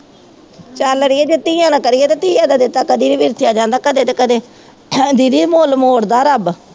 ਚੱਲ ਅੜੀਏ ਜੇ ਧੀਆਂ ਦਾ ਕਰੀਏ ਤਾਂ ਧੀਆਂ ਦਾ ਦਿੱਤਾ ਕਦੀ ਨਹੀਂ ਜਾਂਦਾ, ਕਦੇ ਨਾ ਕਦੇ, ਹੈ ਦੀਦੀ ਮੁੱਲ ਮੋੜਦਾ ਰੱਬ